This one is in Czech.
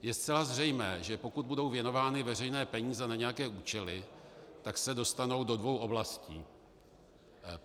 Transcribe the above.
Je zcela zřejmé, že pokud budou věnovány veřejné peníze na nějaké účely, tak se dostanou do dvou oblastí.